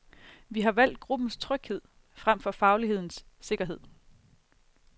Vi har valgt gruppens tryghed frem for faglighedens sikkerhed.